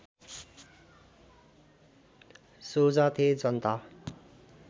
सोझा थे जनता